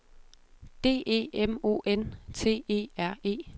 D E M O N T E R E